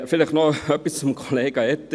Vielleicht noch etwas zu Kollega Etter.